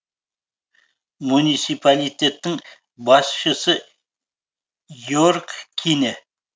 муниципалитеттің басшысы йерг кине